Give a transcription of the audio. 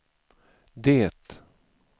det